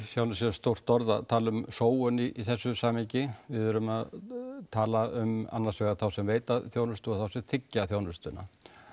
sjálfu sér stórt orð að tala um sóun í þessu samhengi við erum að tala um annars vegar þá sem veita þjónustu og þá sem þiggja þjónustuna